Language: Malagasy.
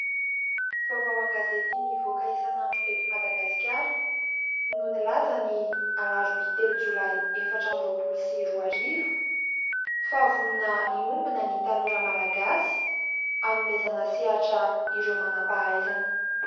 Vaovao an-gazety mivoaka isan'andro eto Madagasikara no nilaza ny alarobia telo jolay efatra amby roapolo sy roa arivo fa vonona hiombona ny tanora Malagasy hanomezana sehatra ireo manam-pahaizana.